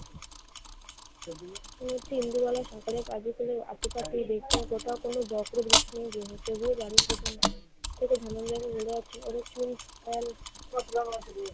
মনে হচ্ছে ইন্দুবালা সকালের কাজের ছেলের আশপাশে কোথাও কোনো ঝড়-টর, বৃষ্টি তবুও বাড়ির পিছন থেকে ধনঞ্জয়কে বলে আসছি